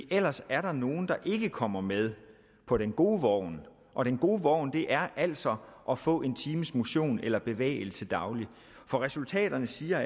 ellers er der nogle der ikke kommer med på den gode vogn og den gode vogn er altså at få en times motion eller bevægelse dagligt for resultaterne siger